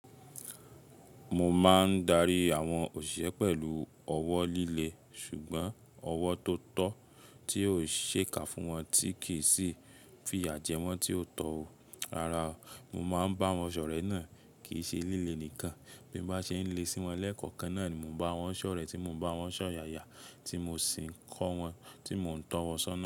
Mo máa ń darí àwọn òṣìṣẹ́ pẹ̀lú ọ̀wọ́ líle ṣùgbọ́n ọ̀wọ́ tó tọ́ tí óò ṣẹ́ka fún wọn tí kì í sì fìyà jẹ wọ́n tí ó tọ̀ ọ́. Rárá, mo máa ń bá wọn sọ̀re náà. Kì í ṣe lilé nìkan. Bí n bá ṣe ń lé sí wọn lẹ́kọ̀ọkan náà ni mo n bá wọn sọ̀rẹ́ tí mo ń bá wọn sọ̀yàyà tí mo sì ń kọ́ wọn, tí mò ń tọ̀wọ̀n sọ́nà.